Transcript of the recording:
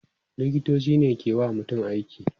liktoci ne ke wa mutum aiki